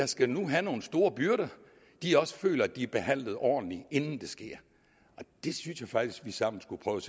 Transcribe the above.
skal have nogle store byrder også føler at de bliver behandlet ordentligt inden det sker og det synes jeg faktisk vi sammen skulle prøve